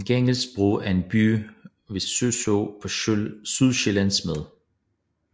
Gangesbro er en by ved Suså på Sydsjælland med